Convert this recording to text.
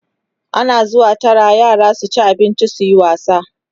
ana zuwa Tara yara su ci abinci suyi wasa